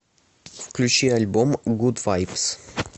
включи альбом гуд вайбс